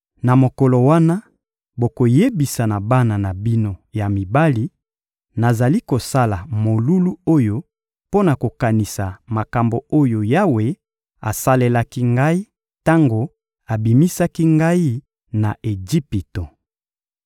Na mokolo wana, bokoyebisa na bana na bino ya mibali: ‹Nazali kosala molulu oyo mpo na kokanisa makambo oyo Yawe asalelaki ngai tango abimisaki ngai na Ejipito.›